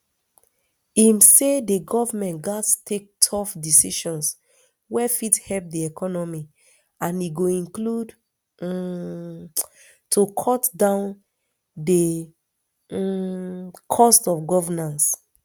im say di goment gatz take tough decisions wey fit help di economy and e go include um to cut down di um cost of governance